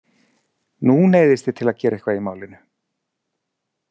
Nú neyðist ég til að gera eitthvað í málinu.